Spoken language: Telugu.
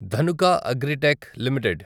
Dhanuka agritech limited